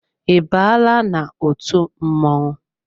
I baala n'otu mmọnwụ?